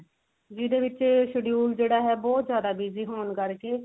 ਜਿਹਦੇ ਵਿੱਚ schedule ਜਿਹੜਾ ਹੈ ਬਹੁਤ ਜਿਆਦਾ busy ਹੋਣ ਕਰਕੇ